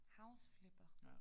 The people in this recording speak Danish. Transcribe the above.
House Flipper